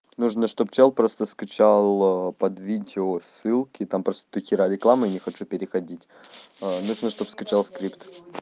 нужно чтобы человек просто скачала под видео ссылки там просто дохера рекламы я не хочу переходить нужно чтобы скачал скрипт